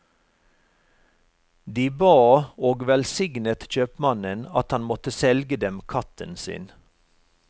De ba og velsignet kjøpmannen at han måtte selge dem katten sin.